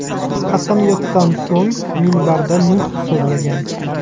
Qasamyoddan so‘ng, minbarda nutq so‘zlagan.